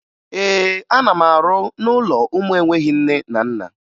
Ee, ana m arụ n'ụlọ ụmụ enweghi nne na nna